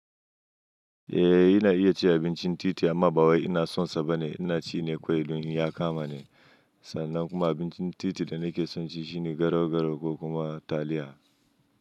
Eh, ina iya cin abincin titi amma ba wai ina sonsa bane. Ina ci ne kawai domin ya kama ni. Sannan kuma abincin titi da nake son ci shine garau-garau ko kuma taliya.